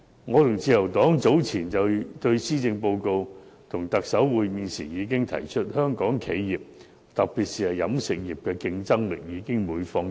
我和自由黨早前就施政報告與特首會面時已經提出，香港企業特別是飲食業的競爭力已每況愈下。